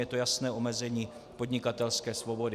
Je to jasné omezení podnikatelské svobody.